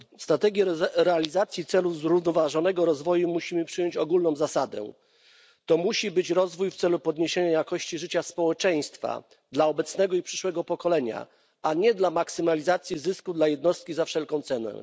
W strategii realizacji celów zrównoważonego rozwoju musimy przyjąć ogólną zasadę musi być to rozwój w celu podniesienia jakości życia społeczeństwa dla obecnego i przyszłego pokolenia, a nie dla maksymalizacji zysku dla jednostki za wszelką cenę.